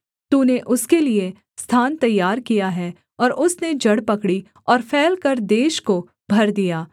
तूने उसके लिये स्थान तैयार किया है और उसने जड़ पकड़ी और फैलकर देश को भर दिया